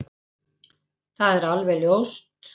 Það er alveg ljóst